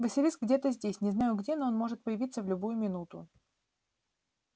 василиск где-то здесь не знаю где но он может появиться в любую минуту